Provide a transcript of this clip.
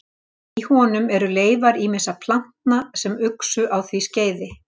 í honum eru leifar ýmissa plantna sem uxu á því skeiði